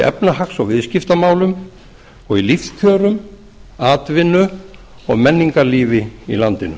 efnahags og viðskiptamálum og í lífskjörum atvinnu og menningarlífi í landinu